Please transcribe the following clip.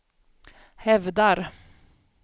hävdar